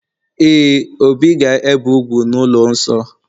Ee, obi ga-ebe úgwù n'ụlọ nsọ